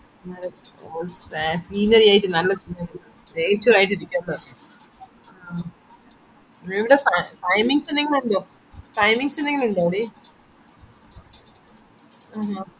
findings ഏന്തെങ്കിലും findings ഉണ്ടോടി